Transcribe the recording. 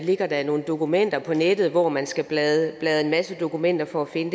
ligger der nogle dokumenter på nettet og man skal bladre i en masse dokumenter for at finde